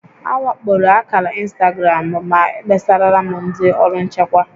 A wakporo akàrà ịnstagram m, ma ekpesarala m ndị ọrụ nchịkwa